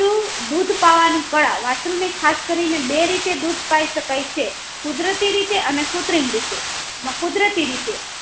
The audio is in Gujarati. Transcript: વાસ્ત્રુ દુધ પાવા ની કાળા વાસ્ત્રુ ને ખાસ કરી ને બે રીતે દૂધ પે શકાય છે કુદરતી રીતે અને કૃત્રિમ રીતે એમાં કુદરતી રીતે